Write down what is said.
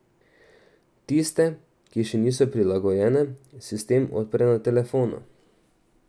Tiste, ki še niso prilagojene, sistem odpre na telefonu.